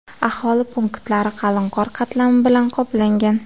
Aholi punktlari qalin qor qatlami bilan qoplangan.